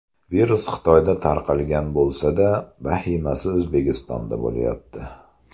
Virus Xitoyda tarqalgan bo‘lsa-da, vahimasi O‘zbekistonda bo‘lyapti.